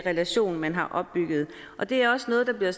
relation man har opbygget og det er også noget der bliver